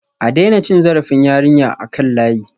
A daina cin zarafin yarinyar a kan layi